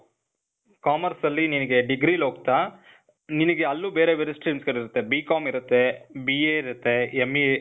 commerce ಅಲ್ಲಿ ನಿನಿಗೆ degree ಲಿ ಹೋಗ್ತಾ, ನಿನಿಗೆ ಅಲ್ಲೂ ಬೇರೆ ಬೇರೆ streams ಗಳಿರತ್ತೆ. BCOM ಇರತ್ತೇ, BA ಇರತ್ತೇ, MA,